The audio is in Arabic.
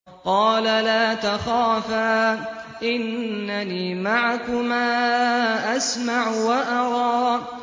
قَالَ لَا تَخَافَا ۖ إِنَّنِي مَعَكُمَا أَسْمَعُ وَأَرَىٰ